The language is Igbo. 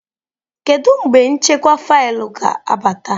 Kedu mgbe nchekwa faịlụ ga-abata?